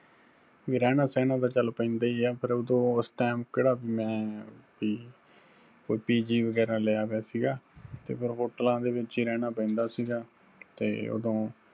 ਵੀ ਰਹਿਣਾ ਸਹਿਣਾ ਤੇ ਚਲ ਪੈਂਦਾ ਹੀ ਆ, ਫਿਰ ਉਦੋਂ ਉਸ time ਕਿਹੜਾ ਮੈਂ ਬੀ ਕੋਈ PG ਵਗਿਹਰਾ ਲਿਆ ਪਿਆ ਸਿਗਾ, ਤੇ ਫਿਰ ਹੋਟਲਾਂ ਦੇ ਵਿੱਚ ਹੀ ਰਹਿਣਾ ਪੈਂਦਾ ਸਿਗਾ ਤੇ ਉੇਦੋਂ